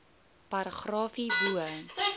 paragraaf hierbo